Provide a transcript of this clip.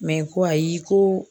ko ayi ko